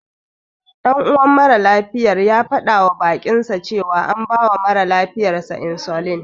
Ɗan uwan mara lafiyar yana faɗawa baƙinsa cewa an bawa mara lafiyar sa insulin.